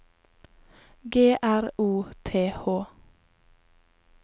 G R O T H